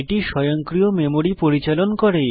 এটি স্বয়ংক্রিয় মেমরি পরিচালন করে